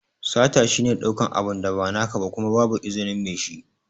Sata shi ne ɗaukan abu da ba naka ba Kuma babu izinin Mai shi.